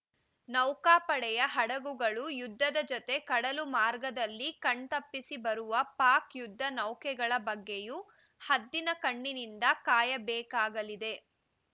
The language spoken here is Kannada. ನೌಕಾಪಡೆಯ ಹಡಗುಗಳು ಯುದ್ಧದ ಜತೆ ಕಡಲು ಮಾರ್ಗದಲ್ಲಿ ಕಣ್ತಪ್ಪಿಸಿ ಬರುವ ಪಾಕ್‌ ಯುದ್ಧ ನೌಕೆಗಳ ಬಗ್ಗೆಯೂ ಹದ್ದಿನ ಕಣ್ಣಿನಿಂದ ಕಾಯಬೇಕಾಗಲಿದೆ